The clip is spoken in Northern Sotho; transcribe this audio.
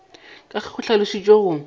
ka ge go hlalošitšwe go